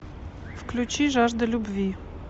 включи жажда любви